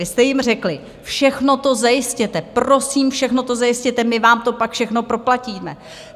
Vy jste jim řekli: Všechno to zajistěte, prosím, všechno to zajistěte, my vám to pak všechno proplatíme.